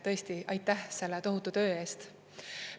Tõesti, aitäh selle tohutu töö eest!